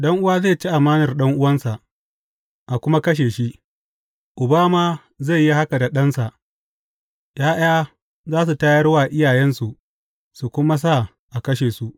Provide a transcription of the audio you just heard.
Ɗan’uwa zai ci amanar ɗan’uwansa, a kuma kashe shi, Uba ma zai yi haka da ɗansa; ’ya’ya za su tayar wa iyayensu, su kuma sa a kashe su.